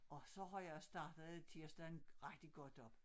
Og så har jeg startet tirsdagen rigtig godt op